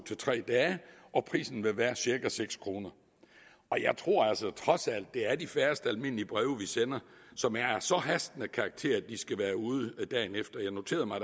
tre dage og prisen vil være cirka seks kroner og jeg tror altså at det trods alt er de færreste almindelige breve vi sender som er af så hastende karakter at de skal være ude dagen efter jeg noterede mig